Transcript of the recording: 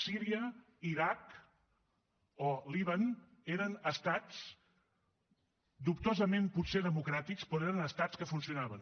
síria l’iraq o el líban eren estats potser dubtosament democràtics però eren estats que funcionaven